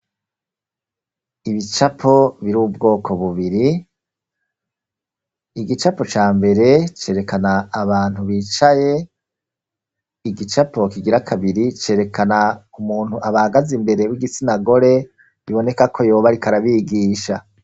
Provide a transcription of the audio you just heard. ibicapo biri ubwoko bubiri igicapo ca mbere cerekana abantu bicaye igicapo kigira kabiri cerekana umuntu abahagaze imbere w'igitsina gore biboneka ko yoba ariko arabigisha